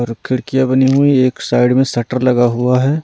और खिड़कियां बनी हुई एक साइड में शटर लगा हुआ है।